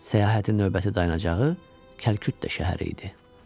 Səyahətin növbəti dayanacağı Kəlküttə şəhəri idi.